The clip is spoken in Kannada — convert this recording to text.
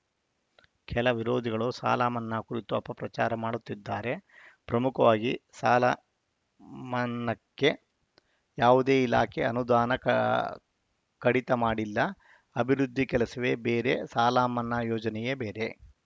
ಕೆಲ ವಿರೋಧಿಗಳು ಸಾಲಮನ್ನಾ ಕುರಿತು ಅಪಪ್ರಚಾರ ಮಾಡುತ್ತಿದ್ದಾರೆ ಪ್ರಮುಖವಾಗಿ ಸಾಲ ಮನ್ನಾಕ್ಕೆ ಯಾವುದೇ ಇಲಾಖೆ ಅನುದಾನ ಕಅ ಕಡಿತ ಮಾಡಿಲ್ಲ ಅಭಿವೃದ್ಧಿ ಕೆಲಸವೇ ಬೇರೆ ಸಾಲಮನ್ನಾ ಯೋಜನೆಯೇ ಬೇರೆ